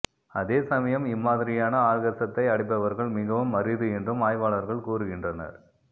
அதே சமயம் இம்மாதிரியான ஆர்கஸத்தை அடைபவர்கள் மிகவும் அரிது என்றும் ஆய்வாளர்கள் கூறுகின்றனர்